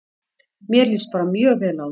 Mér líst bara mjög vel á það.